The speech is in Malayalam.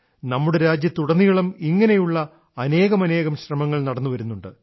നമ്മുടെ രാജ്യത്തുടനീളം ഇങ്ങനെയുള്ള അനേകമനേകം ശ്രമങ്ങൾ നടന്നുവരുന്നുണ്ട്